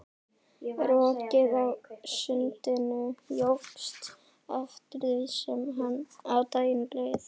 Rokið á sundinu jókst eftir því sem á daginn leið.